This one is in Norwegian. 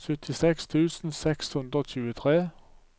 syttiseks tusen seks hundre og tjuetre